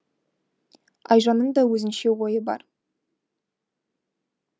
айжанның да өзінше ойы бар